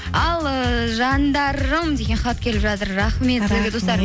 ал ыыы жандарым деген хат келіп жатыр рахмет